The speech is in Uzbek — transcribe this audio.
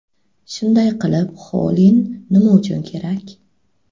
Shunday qilib, xolin nima uchun kerak?